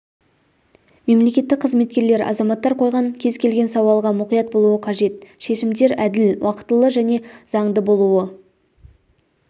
мемлекеттік қызметкерлер азаматтар қойған кез келген сауалға мұқият болуы қажет шешімдер әділ уақытылы және заңды болуы